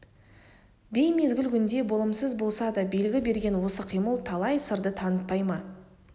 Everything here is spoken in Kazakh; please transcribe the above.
беймезгіл күнде болымсыз болса да белгі берген осы қимыл талай сырды танытпай ма